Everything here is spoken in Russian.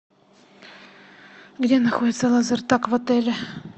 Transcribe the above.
где находится лазертаг в отеле